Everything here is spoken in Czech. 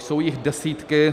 Jsou jich desítky.